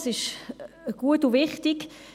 Dies ist gut und wichtig.